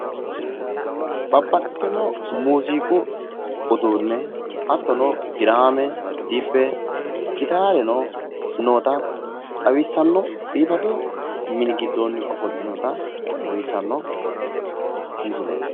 Kuri muziqaho irkisate horonsi'neemmo uduuneti, dibbe, gitare, babbaxitino huuro uyittano muziqu uduuneti